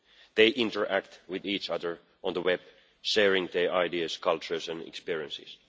They interact with each other on the web, sharing their ideas, cultures and experiences.